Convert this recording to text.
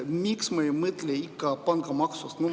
Miks me ikkagi ei mõtle pangamaksust?